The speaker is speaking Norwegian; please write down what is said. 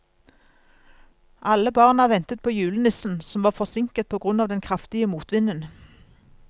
Alle barna ventet på julenissen, som var forsinket på grunn av den kraftige motvinden.